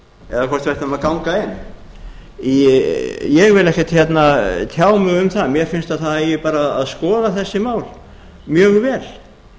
eða hvort við ættum að ganga inn ég vil ekkert tjá mig um það mér finnst að það eigi bara að skoða þessi mál mjög